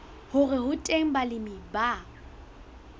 hore ho teng balemi ba